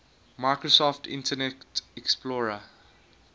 microsoft internet explorer